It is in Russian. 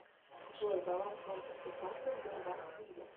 джой баланс банковской карты сбербанк виза